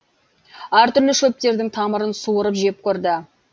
әр түрлі шөптердің тамырын суырып жеп көрді